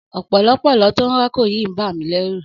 Ọ̀pọ̀lọ́pọ̀lọ́ tó ń rákò yìí ń bà mí lẹ́rù.